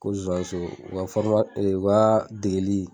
Ko zozaniso u ka u ka degeli